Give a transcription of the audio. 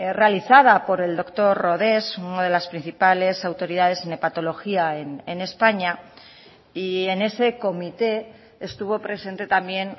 realizada por el doctor rodés una de las principales autoridades en hepatología en españa y en ese comité estuvo presente también